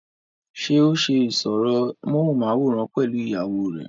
ṣé ó ṣe ìsọ̀rọ̀ móhùnmáwòrán pẹ̀lú ìyàwó rẹ?